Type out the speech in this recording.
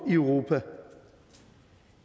i europa